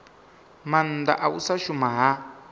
maanda u sa shuma ha